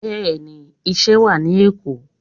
Bẹ́ẹ̀ni, iṣẹ́ wá ní Èkó.